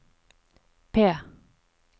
P